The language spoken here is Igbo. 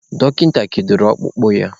Dọkịta kedoro ọkpụkpụ ya.